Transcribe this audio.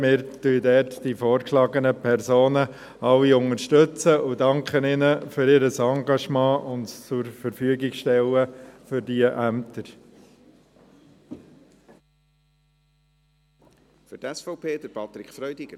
Wir unterstützen alle vorgeschlagenen Personen und danken ihnen für ihr Engagement und dafür, dass sie sich für diese Ämter zur Verfügung stellen.